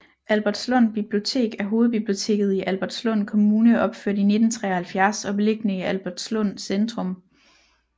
Albertslund Bibliotek er hovedbiblioteket i Albertslund Kommune opført i 1973 og beliggende i Albertslund Centrum